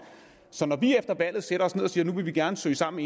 så når vi efter valget sætter os ned og siger at nu vil vi gerne søge sammen